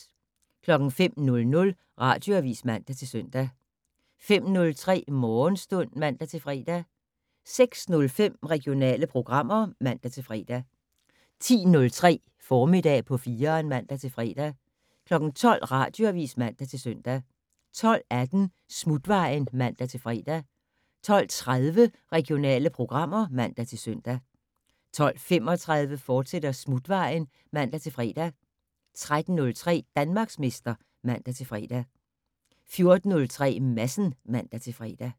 05:00: Radioavis (man-søn) 05:03: Morgenstund (man-fre) 06:05: Regionale programmer (man-fre) 10:03: Formiddag på 4'eren (man-fre) 12:00: Radioavis (man-søn) 12:18: Smutvejen (man-fre) 12:30: Regionale programmer (man-søn) 12:35: Smutvejen, fortsat (man-fre) 13:03: Danmarksmester (man-fre) 14:03: Madsen (man-fre)